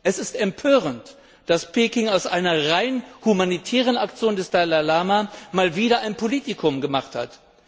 Es ist empörend, dass Peking aus einer rein humanitären Aktion des Dalai Lama wieder einmal ein Politikum gemacht hat.